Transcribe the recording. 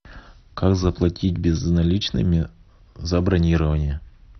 как заплатить безналичными за бронирование